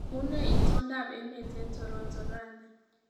Unee itondoab emet eng Toronto rani